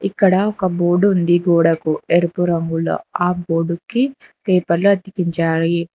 ఇక్కడ ఒక బోర్డు ఉంది గోడకు ఎరుపు రంగులో ఆ బోర్డు కి పేపర్ అతికించాయి.